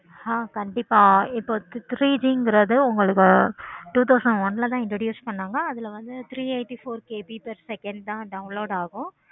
ஆஹ் கண்டிப்பா ஒரு three G கிறது உங்களுக்கு two thousand one ல தான் introduce பண்ணுவாங்க அதுல வந்து three eighty four KB தான் download ஆகும்.